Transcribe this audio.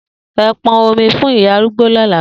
E pon omi fun iya arugbo lola!